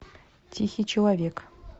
тихий человек